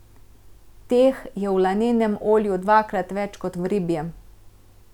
Teh je v lanenem olju dvakrat več kot v ribjem.